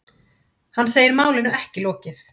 Hann segir málinu ekki lokið.